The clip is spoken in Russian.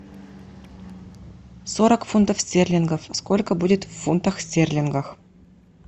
сорок фунтов стерлингов сколько будет в фунтах стерлингах